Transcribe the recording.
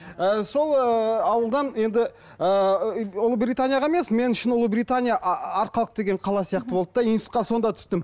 ы сол ыыы ауылдан енді ыыы ұлыбританияға емес мен үшін ұлыбритания арқалық деген қала сияқты болды да институтқа сонда түстім